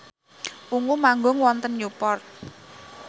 Ungu manggung wonten Newport